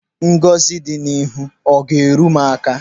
Ngọzi dị n'ihu ọ ga-eru m aka?